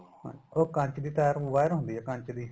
ਹਾਂਜੀ ਉਹ ਕੰਚ ਦੀ ਤਾਰ ਨੂੰ wire ਹੁੰਦੀ ਏ ਕੰਚ ਦੀ